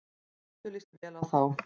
Eddu líst vel á þá.